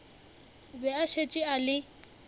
be a šetše a le